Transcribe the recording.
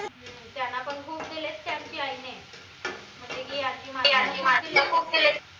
त्यांना पन खूप दिलेत त्यांच्या आईने